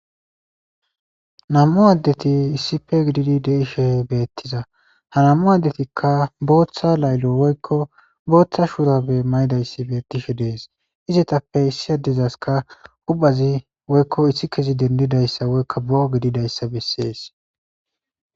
namm7u addeti issife gididi de7ishe beettiza ha namm7u addetikka booththa laylo woykko booththa shuurabe mayidayssi beettishe dees izetappe issi adezaska hubazi woykko issi kezi dendidayssa woykka boo gididayssa bessees